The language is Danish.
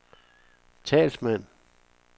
talsmand